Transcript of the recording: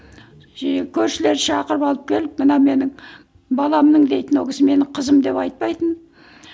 жиі көршілерді шақырып алып келіп мынау менің баламның дейтін ол кісі мені қызым деп айтпайтын